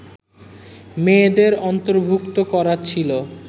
মেয়েদের অন্তর্ভূক্ত করা ছিল